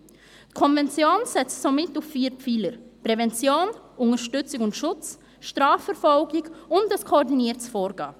Die Konvention setzt somit auf vier Pfeiler: Prävention, Unterstützung und Schutz, Strafverfolgung und ein koordiniertes Vorgehen.